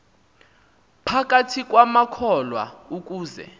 phakathi kwamakholwa ukuze